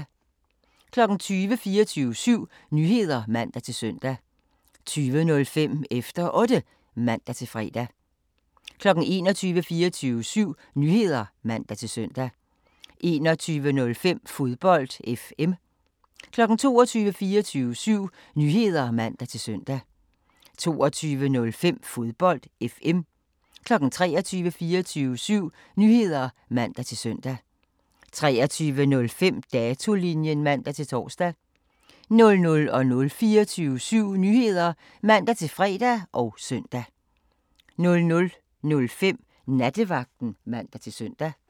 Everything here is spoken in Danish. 20:00: 24syv Nyheder (man-søn) 20:05: Efter Otte (man-fre) 21:00: 24syv Nyheder (man-søn) 21:05: Fodbold FM 22:00: 24syv Nyheder (man-søn) 22:05: Fodbold FM 23:00: 24syv Nyheder (man-søn) 23:05: Datolinjen (man-tor) 00:00: 24syv Nyheder (man-fre og søn) 00:05: Nattevagten (man-søn)